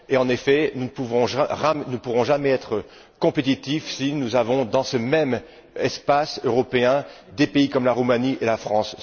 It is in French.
En effet, nous ne pourrons jamais être compétitifs si nous avons, dans ce même espace européen, des pays comme la Roumanie et la France.